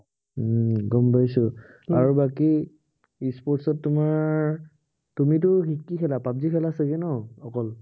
উম গম পাইছো। আৰু বাকী e sports ত তোমাৰ, তুমিটো কি খেলা পাব জি খেলা চাগে ন অকল?